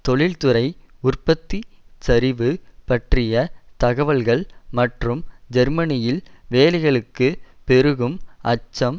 தொழில்துறை உற்பத்தி சரிவு பற்றிய தகவல்கள் மற்றும் ஜெர்மனியில் வேலைகளுக்குப் பெருகும் அச்சம்